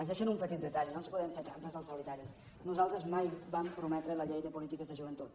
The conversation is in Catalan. es deixen un petit detall no ens podem fer trampes al solitari nosaltres mai vam prometre la llei de polítiques de joventut